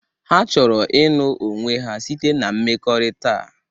Ha chọrọ ịnụ onwe ha site na mmekọrịta.